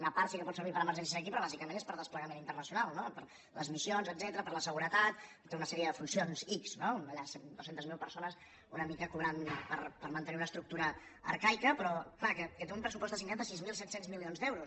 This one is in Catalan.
una part sí que pot servir per a emergències aquí però bàsicament és per a desplegament internacional no per a les missions etcètera per a la seguretat tota una sèrie de funcions ics no dues centes mil persones una mica cobrant per mantenir una estructura arcaica però clar que té un pressupost assignat de sis mil set cents milions d’euros